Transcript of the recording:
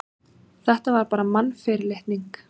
Þetta var bara mannfyrirlitning.